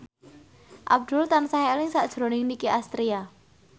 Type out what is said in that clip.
Abdul tansah eling sakjroning Nicky Astria